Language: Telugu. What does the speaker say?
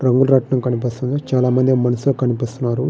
రంగు రాట్నం కనిపిస్తుంది చాల మంది మనసులు అకనిపిస్తున్నారు.